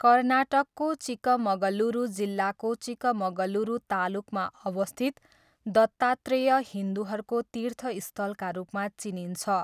कर्नाटकको चिकमगलुरू जिल्लाको चिकमगलुरू तालुकमा अवस्थित दत्तात्रेय हिन्दुहरूको तीर्थस्थलका रूपमा चिनिन्छ।